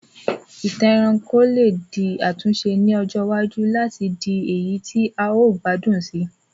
Ìtàn ẹranko lé di àtúnse ni ọjọ iwájú láti le di èyí ti a o gbádùn sii